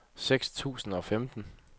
seks tusind og femten